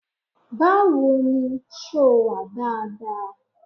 Báwo ni, ṣẹ́ o wà dáadáa?